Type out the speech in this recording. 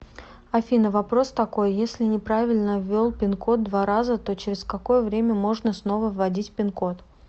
афина вопрос такой если неправильно ввел пин код два раза то через какое время можно снова вводить пин код